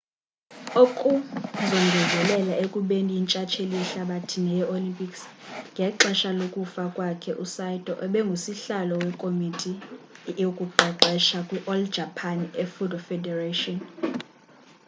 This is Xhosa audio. ukongezelela ekubeni yintshtsheli yehlabathi neyee-olympics ngexesha lokufa kwakhe usaito ebengusihlalo wekomiti yokuqeqesha kwi-all japan judo federation